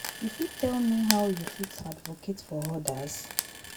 You fit tell me how you fit advocate for others?